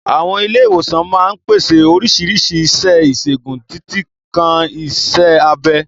Àwọn ilé ìwòsàn máa ń pèsè oríṣiríṣi iṣẹ́ ìṣègùn, títí kan iṣẹ́ abẹ.